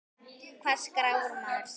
Hvar skráir maður sig?